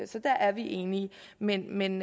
så der er vi enige men men